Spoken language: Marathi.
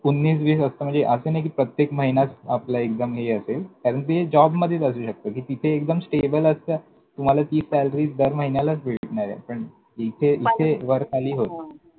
उन्नीस बीस असतं म्हणजे असं नाही प्रत्येक महिनाच आपला एकदम हे असेल. कारण ते जॉबमधेच असू शकतं ते. कि ते एकदम stable असतं. मला salary दर महिन्यालाच भेटणारे. इथे, इथे वरखाली हां होतं.